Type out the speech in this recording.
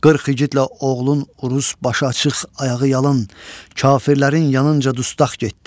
40 igidlə oğlun urus başı açıq, ayağı yalın, kafirlərin yanınca dustaq getdi.